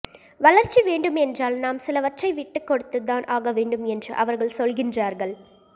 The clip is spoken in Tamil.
வளர்ச்சி வேண்டும் என்றால் நாம் சிலவற்றை விட்டுக்கொடுத்துதான் ஆகவேண்டும் என்று அவர்கள் சொல்கின்றார்கள்